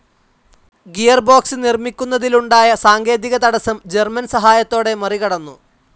Gearbox നിർമിക്കുന്നതിലുണ്ടായ സാങ്കേതികതടസം German സഹായത്തോടെ മറികടന്നു.